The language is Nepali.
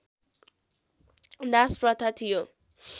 दासप्रथा थियो